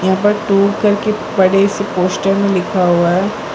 ऊपर टू करके बड़े से पोस्टर में लिखा हुआ है।